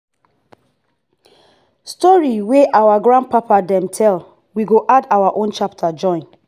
pikin wey sabi him sabi him root go stand strong for anywhere.